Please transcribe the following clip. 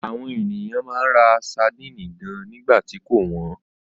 Àwọn ènìyàn máa ń ra sadínì gan nígbà tí kò wọ́n.